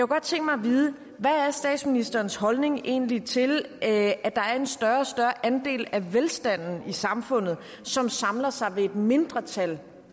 godt tænke mig at vide hvad er statsministerens holdning egentlig til at der er en større og større andel af velstanden i samfundet som samler sig ved et mindretal